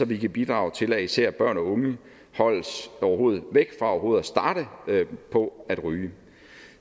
vi kan bidrage til at især børn og unge holdes væk fra overhovedet at starte på at ryge